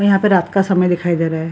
यहाँ पे रात का समय दिखाई दे रहा है।